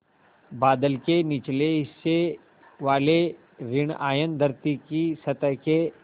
बादल के निचले हिस्से वाले ॠण आयन धरती की सतह के